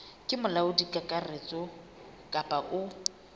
ke molaodi kakaretso kapa o